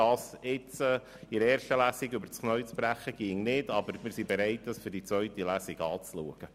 Es ginge nicht, das nun in der ersten Lesung übers Knie zu brechen, aber wir sind bereit, diese Fragestellung für die zweite Lesung anzuschauen.